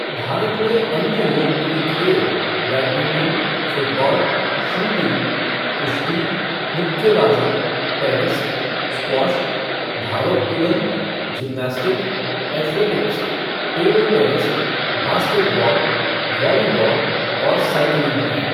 भारत में अन्य लोकप्रिय खेल बैडमिंटन, फ़ुटबॉल, शूटिंग, कुश्ती, मुक्केबाजी, टेनिस, स्क्वैश, भारोत्तोलन, gymnastic, athletics, table tennis, basketball, volleyball और साइकिलिंग हैं।